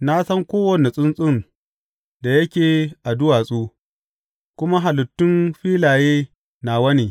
Na san kowane tsuntsun da yake a duwatsu kuma halittun filaye nawa ne.